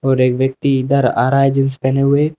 और एक व्यक्ति इधर आ रहा है जींस पहने हुए--